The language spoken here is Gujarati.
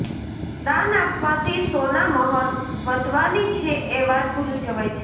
દાન આપવાથી સોનામહોર વધવાની છે એ વાત ભૂલી જવાય છે